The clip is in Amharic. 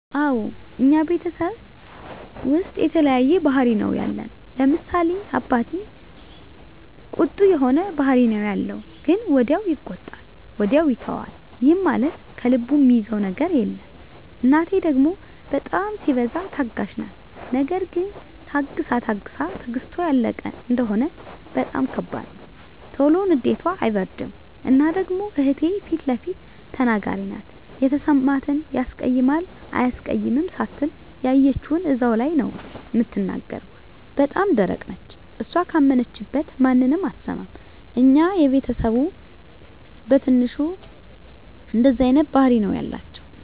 አወ እኛ ቤተሰብ ዉስጥ የተለያየ ባህሪ ነዉ ያለን፤ ለምሳሌ፦ አባቴ ቁጡ የሆነ ባህሪ ነዉ ያለዉ ግን ወዲያዉ ይቆጣል ወዲያዉ ይተወዋል ይህም ማለት ከልቡ እሚይዘዉ ነገር የለም፣ እናቴ ደሞ በጣም ሲበዛ ታጋሽ ናት ነገር ግን ታግሳ ታግሳ ትግስቷ ያለቀ እንደሆነ በጣም ከባድ ነዉ። ቶሎ ንዴቷ አይበርድም እና ደሞ እህቴ ፊለፊት ተናጋሪ ናት የተሰማትን ያስቀይማል አያስቀይምም ሳትል ያየችዉን እዛዉ ላይ ነዉ እምትናገር እና በጣም ደረቅ ነች እሷ ካመነችበት ማንንም አትሰማም። የኛ ቤተስብ በትንሹ እንደዚህ አይነት ባህሪ ነዉ ያላቸዉ።